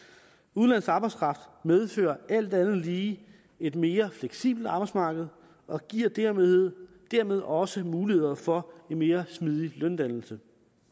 udenlandsk arbejdskraft medfører alt andet lige et mere fleksibelt arbejdsmarked og giver dermed dermed også muligheder for en mere smidig løndannelse